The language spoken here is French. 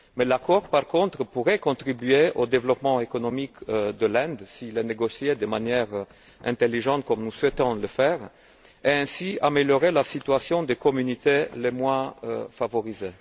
Mais l'accord, par contre, pourrait contribuer au développement économique de l'Inde, s'il est négocié de manière intelligente, comme nous souhaitons le faire, et ainsi améliorer la situation des communautés les moins favorisées.